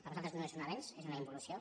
per nosaltres no és un avenç és una involució